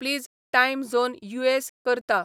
please time zone US करता